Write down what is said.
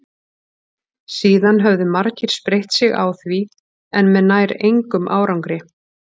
síðan höfðu margir spreytt sig á því en með nær engum árangri